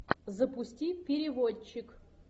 запусти переводчик